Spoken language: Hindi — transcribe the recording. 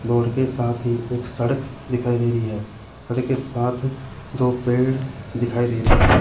बोर्ड के साथ ही एक सड़क दिखाई दे रही है सड़क के साथ दो पेड़ दिखाई दे रहे।